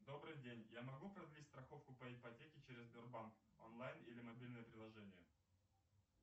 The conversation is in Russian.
добрый день я могу продлить страховку по ипотеке через сбербанк онлайн или мобильное приложение